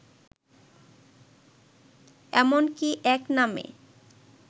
এমনকি এক নামে